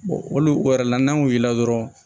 olu yɛrɛ la n'an wulila dɔrɔn